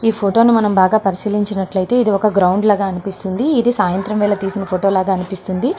ఈ ఫోటోని బాగా పరిశీలించినట్లయితే మనకి ఇది ఒక గ్రౌండ్ లాగా కనబడుతుంది ఇది సాయంత్రం వేల తీసిన ఫోటో లాగా కనిపిస్తుంది.